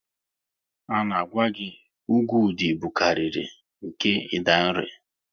A na gwa gị, ugwu Ụdị bukariri nke Idanre